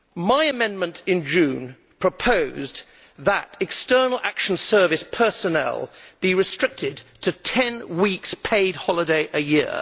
My amendment in June proposed that External Action Service personnel be restricted to ten weeks' paid holiday a year.